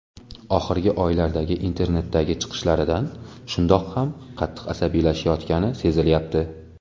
Oxirgi oylardagi internetdagi chiqishlaridan shundoq ham qattiq asabiylashayotgani sezilayapti.